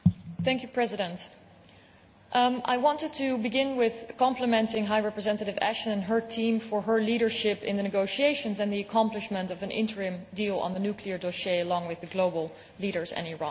Mr President, I want to begin by complimenting High Representative Ashton and her team on her leadership in the negotiations and the achievement of an interim deal on the nuclear dossier, along with the global leaders and Iran.